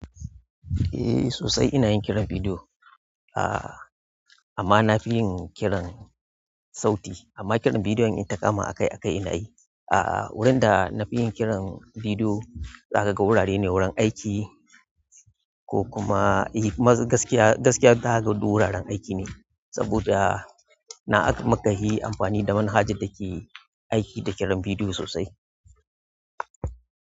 Eh sosai ina yin kiran bidiyo ah amma na fi yin kiran sauti amma kiran bidiyo in ta kama a kai a kai ina yi. Ah wurin da na fi yin kiran bidiyo za kaga wurare ne wurin aiki ko kuma eh gaskiya, gaskiya zakaga duk wuraren aiki ne saboda nan mukahi amfani da manhaja da ke aiki da kiran bidiyo sosai.